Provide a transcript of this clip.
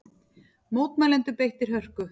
Mótmælendur beittir hörku